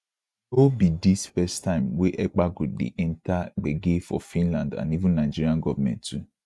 no be dis first time wey ekpa go dey enta gbege for finland and even nigerian govment too